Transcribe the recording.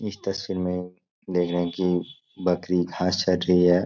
इस तस्वीर में देख रहें हैं कि बकरी घास चर रही है।